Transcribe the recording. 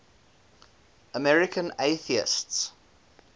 american atheists